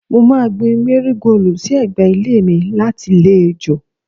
Mo máa gbin Márígóòlù sí ẹ̀gbẹ́ ilé mi láti lé ejò